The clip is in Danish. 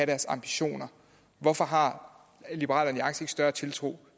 deres ambitioner hvorfor har liberal alliance ikke større tiltro